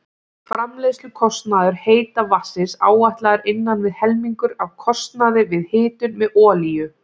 Framleiðslukostnaður heita vatnsins áætlaður innan við helmingur af kostnaði við hitun með olíu.